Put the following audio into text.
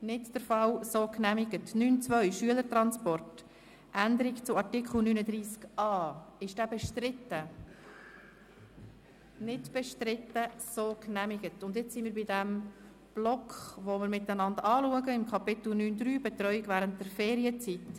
Mit dem Kapitel 9.3, Betreuung während der Ferienzeit, sind wir beim Block angelangt, den wir zusammen anschauen.